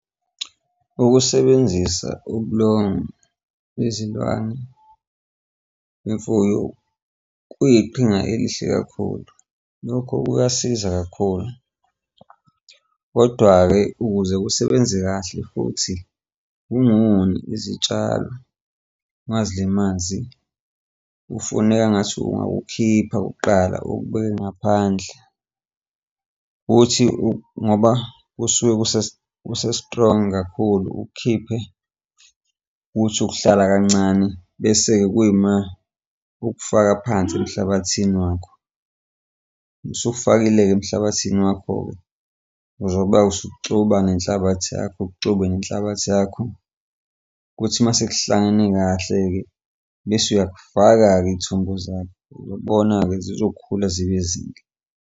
Ukusebenzisa ubulongwe, izindwangu kwemfuyo kuyiqhinga elihle kakhulu, lokho kuyasiza kakhulu. Kodwa-ke ukuze kusebenze kahle futhi ungoni izitshalo ungazilimazi, ufuneka engathi ungawukhipha kuqala ukubeke ngaphandle ukuthi ngoba kusuke kuse-strong kakhulu, ukukhiphe uthi ukuhlala kancane, bese-ke kuyima ukufaka phansi emhlabathini wakho. Usuwufakile-ke emhlabathini wakho-ke uzoba-ke usuxuba ngenhlabathi yakho, uxube nenhlabathi yakho, kuthi masekuhlangene kahle-ke bese uyakufaka-ke iy'thombo zakho uzobona-ke zizokhula zibe zinhle.